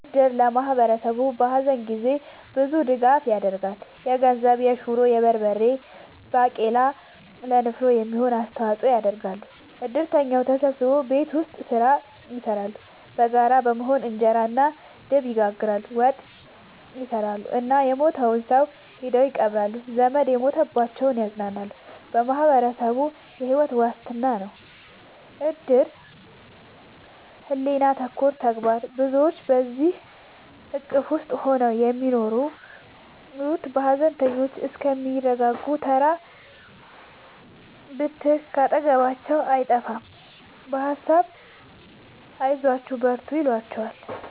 እድር ለማህበረሰቡ በሀዘን ጊዜ ብዙ ድጋፍ ይደረጋል። የገንዘብ፣ የሹሮ፣ የበርበሬ ባቄላ ለንፍሮ የሚሆን አስተዋጽኦ ያደርጋሉ። እድርተኛው ተሰብስቦ ቤት ውስጥ ስራ ይሰራሉ በጋራ በመሆን እንጀራ እና ድብ ይጋግራሉ፣ ወጥ ይሰራሉ እና የሞተውን ሰው ሄደው ይቀብራሉ። ዘመድ የሞተባቸውን ያፅናናሉ በማህበረሰቡ የሕይወት ዋስትና ነው እድር ሕሊና ተኮር ተግባር ብዙዎች በዚሕ እቅፍ ውስጥ ነው የሚኖሩት ሀዘነተኞቹ እስከሚረጋጉ ተራ ብትር ካጠገባቸው አይጠፍም በሀሳብ አይዟችሁ በርቱ ይሏቸዋል።